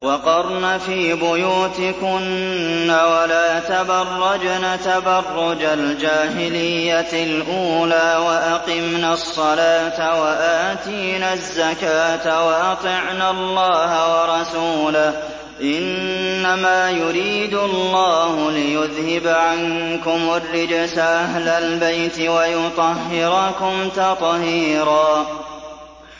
وَقَرْنَ فِي بُيُوتِكُنَّ وَلَا تَبَرَّجْنَ تَبَرُّجَ الْجَاهِلِيَّةِ الْأُولَىٰ ۖ وَأَقِمْنَ الصَّلَاةَ وَآتِينَ الزَّكَاةَ وَأَطِعْنَ اللَّهَ وَرَسُولَهُ ۚ إِنَّمَا يُرِيدُ اللَّهُ لِيُذْهِبَ عَنكُمُ الرِّجْسَ أَهْلَ الْبَيْتِ وَيُطَهِّرَكُمْ تَطْهِيرًا